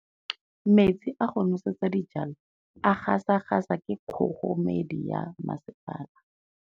Metsi a go nosetsa dijalo a gasa gasa ke kgogomedi ya masepala.